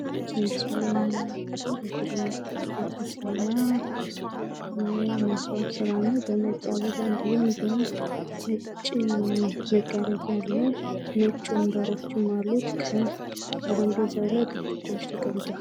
በምስሉ ላይ የምንመለከተው የማስዋብ ስራ ነው። በነጭ አበባ እንድሁም በነጭ መጋረጃ አለው። ነጭ ወንበሮችም አሉት። ከጠረጴዛው ላይ ብርጭቆዎች ተቀምጠዋል።